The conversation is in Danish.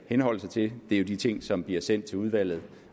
henholde sig til er de ting som bliver sendt til udvalget